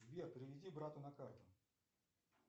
сбер переведи брату на карту